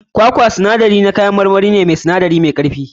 Kwakwa misali ne na kayan marmari mai sinadarai da ke da karfi.